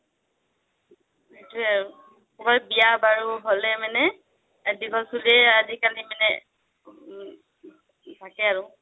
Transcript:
সেইটোয়ে আৰু কবাত বিয়া বাৰু হ'লে মানে দীঘল চুলিয়ে আজিকালি মানে দেখো থাকে আৰু